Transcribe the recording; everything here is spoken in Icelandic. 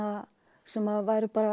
sem væru bara